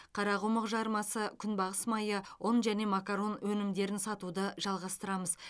қарақұмық жармасы күнбағыс майы ұн және макарон өнімдерін сатуды жалғастырамыз